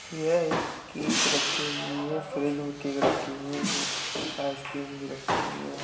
यह एक केक रखी हुई है फ्रिज में केक रखी हुई है इसमें आइसक्रीम भी रखी हुई है।